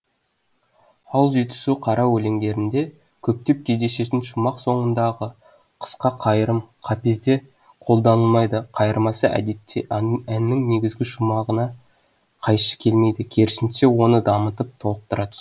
ал жетісу қара өлеңдерінде көптеп кездесетін шумақ соңындағы қысқа қайырым қапезде қолданылмайды қайырмасы әдетте әннің негізгі шумағына қайшы келмейді керісінше оны дамытып толықтыра түседі